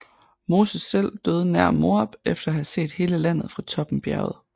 Moses selv døde nær Moab efter at have set hele landet fra toppen bjerget